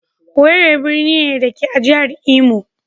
Owerri birni ne, da ke a jihar Imo.